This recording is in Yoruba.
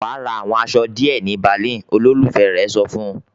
"Wà á ra àwọn aṣọ díẹ̀ ní Berlin!" Olólùfẹ́ rẹ̀ sọ fún un.